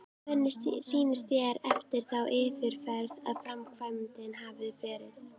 Hvernig sýnist þér eftir þá yfirferð að framkvæmdin hafi verið?